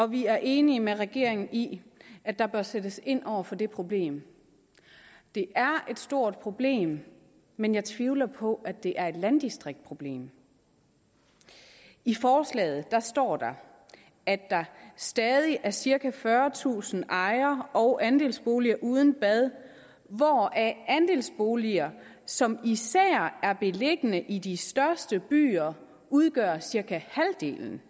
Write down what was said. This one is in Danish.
vi er enige med regeringen i at der bør sættes ind over for det problem det er et stort problem men jeg tvivler på at det er et landdistriktsproblem i forslaget står der at der stadig er cirka fyrretusind ejer og andelsboliger uden bad andelsboliger som især er beliggende i de største byer udgør cirka halvdelen